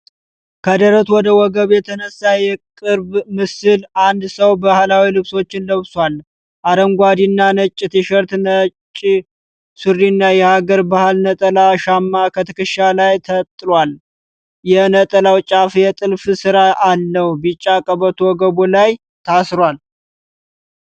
ከደረት ወደ ወገብ የተነሳ የቅርብ ምስል (closeup)። አንድ ሰው ባህላዊ ልብሶችን ለብሷል፤ አረንጓዴና ነጭ ቲሸርት ነጭ ሱሪና የሐገር ባህል ነጠላ (ሻማ) ከትከሻ ላይ ተጥሏል። የነጠላው ጫፍ የጥልፍ ስራ አለው። ቢጫ ቀበቶ ወገብ ላይ ይታሰራል።